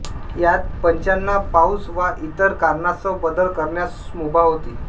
यात पंचांना पाउस वा इतर कारणांस्तव बदल करण्यास मुभा होती